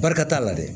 Barika t'a la dɛ